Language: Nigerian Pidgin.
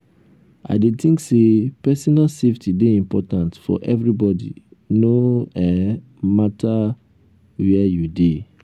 i dey think say personal safety dey important for everybody no um matter um where you dey.